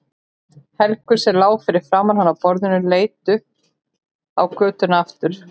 Helgu sem lá fyrir framan hann á borðinu og leit upp á götuna aftur.